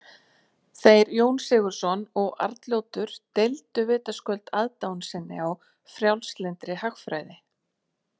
Þeir Jón Sigurðsson og Arnljótur deildu vitaskuld aðdáun sinni á frjálslyndri hagfræði.